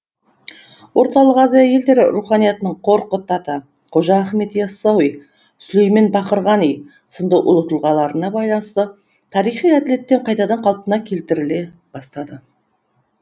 орталық азия елдері руханиятының қорқыт ата қожа ахмет ясауи сүлеймен бақырғани сынды ұлы тұлғаларына байланысты тарихи әділет те қайтадан қалпына келтіріле бастады